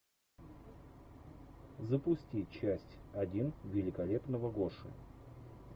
запусти часть один великолепного гоши